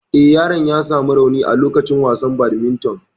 Eh, yaron ya samu rauni a lokacin wasan badminton.